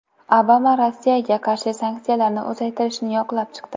Obama Rossiyaga qarshi sanksiyalarni uzaytirishni yoqlab chiqdi.